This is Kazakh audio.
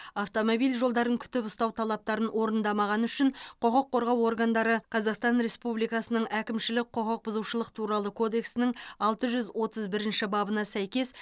автомобиль жолдарын күтіп ұстау талаптарын орындамағаны үшін құқық қорғау органдары қазақстан республикасының әкімшілік құқықбұзушылық туралы кодексінің алты жүз отыз бірінші бабына сәйкес